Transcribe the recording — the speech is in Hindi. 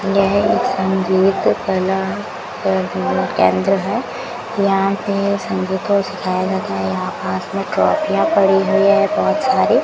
यह एक संगीत कलाकार केंद्र है यहां पे संगीत को सिखाया जाता है यहां पास में ट्राफियां पड़ी हुई है बहोत सारी --